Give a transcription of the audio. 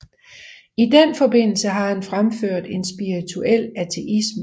I den forbindelse har han fremført en spirituel ateisme